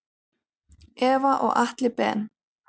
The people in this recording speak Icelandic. Eva og Atli Ben.